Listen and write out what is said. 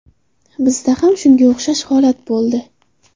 Bizda ham shunga o‘xshash holat bo‘ldi.